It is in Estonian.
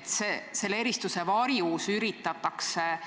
siis selle varjus üritatakse